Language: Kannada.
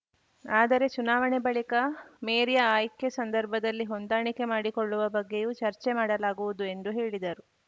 ಆದರೆ ಚುನಾವಣೆ ಬಳಿಕ ಮೇರಿ ಆಯ್ಕೆ ಸಂದರ್ಭದಲ್ಲಿ ಹೊಂದಾಣಿಕೆ ಮಾಡಿಕೊಳ್ಳುವ ಬಗ್ಗೆಯೂ ಚರ್ಚೆ ಮಾಡಲಾಗುವುದು ಎಂದು ಹೇಳಿದರು